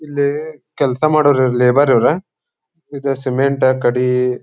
ಇಲ್ಲಿ ಕೆಲಸ ಮಾಡೋವ ಲೇಬರ್ ಇವರು ಇದ್ ಸಿಮೆಂಟ್ ಕಡಿ --